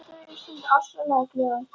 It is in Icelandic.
Auðvitað verð ég stundum ofsalega glöð.